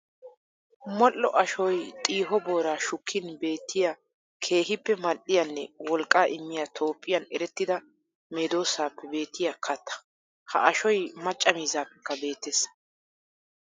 Modhdho ashoy xiiho boora shukkin beetiya keehippe mali'iyanne wolqqa immiya Toophphiyan erettida meedosaappe beetiya katta. Ha ashoy macca miizzaappekka beettees.